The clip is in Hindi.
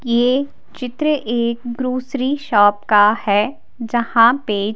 ये चित्र एक ग्रोसरी शॉप का है जहां पे--